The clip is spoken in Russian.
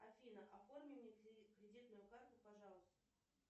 афина оформи мне кредитную карту пожалуйста